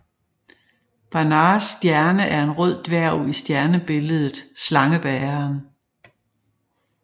Barnards stjerne er en rød dværg i stjernebilledet Slangebæreren